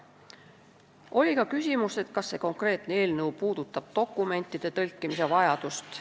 Oli ka küsimus, kas see konkreetne eelnõu puudutab dokumentide tõlkimise vajadust.